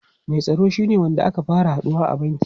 Mai tsaro shine wanda ake fara haduwa a banki.